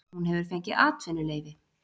Hún hefur fengið atvinnuleyfi